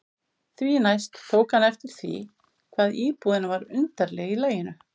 Því næst tók hann eftir því hvað íbúðin var undarleg í laginu.